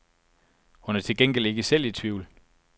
Hun er til gengæld ikke selv i tvivl.